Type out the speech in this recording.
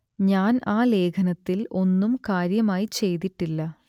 ഞാൻ ആ ലേഖനത്തിൽ ഒന്നും കാര്യമായി ചെയ്തിട്ടില്ല